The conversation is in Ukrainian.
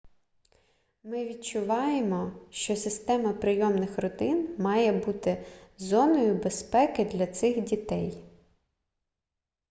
ми відчуваємо що система прийомних родин має бути зоною безпеки для цих дітей